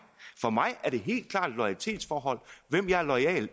for mig er det helt klart et loyalitetsforhold hvem jeg er loyal